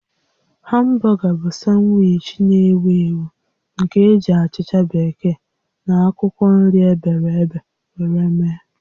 Hamburger bụ sanwichi na-ewu ewu nke eji achicha bekee na akwụkwọ nri ebere ebe were eme